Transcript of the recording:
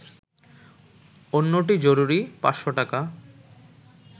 অন্যটি জরুরি, ৫০০ টাকা